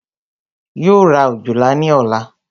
Yóò ra òjòlá ní ọ̀la